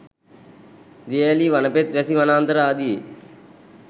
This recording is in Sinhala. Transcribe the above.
දිය ඇලී වනපෙත් වැසි වනාන්තර ආදියේ